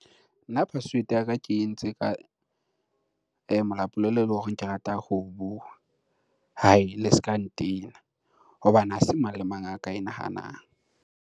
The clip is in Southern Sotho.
Nna password ya ka ke entse ka molapolelo eleng hore ke rata ho o bua, haii le ska ntena. Hobane ha se mang le mang a ka e nahanang.